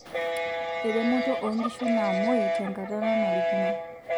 Eremoto oonkishu naamuoiy tenkata nanarikino.